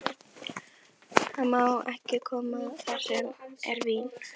Hann má ekki koma þar sem er vín.